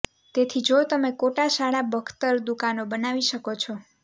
તેથી જો તમે કોટા શાળા બખ્તર દુકાનો બનાવી શકો છો